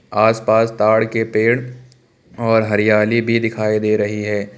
आसपास ताड़ के पेड़ और हरियाली भी दिखाई दे रही है।